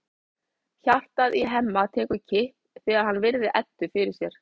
Hjartað í Hemma tekur kipp þegar hann virðir Eddu fyrir sér.